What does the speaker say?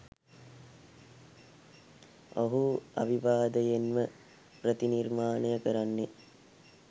ඔහු අවිවාදයෙන්ම ප්‍රතිනිර්මාණය කරන්නේ